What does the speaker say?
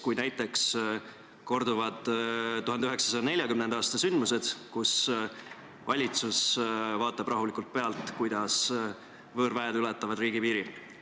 Kui näiteks korduvad 1940. aasta sündmused, kus valitsus vaatab rahulikult pealt, kuidas võõrväed ületavad riigipiiri?